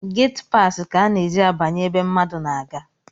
Gatipasi ka a na-eji abanye ebe mmadu na-aga